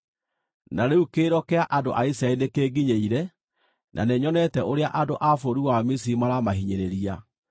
Na rĩu kĩrĩro kĩa andũ a Isiraeli nĩkĩnginyĩire, na nĩnyonete ũrĩa andũ a bũrũri wa Misiri maramahinyĩrĩria.